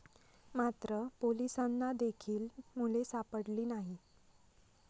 मात्र, पोलिसांना देखील मुले सापडली नाही.